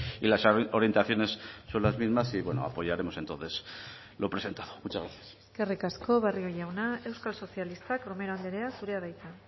y las orientaciones son las mismas y apoyaremos entonces lo presentado muchas gracias eskerrik asko barrio jauna euskal sozialistak romero andrea zurea da hitza